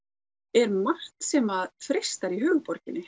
er margt sem að freistar í höfuðborginni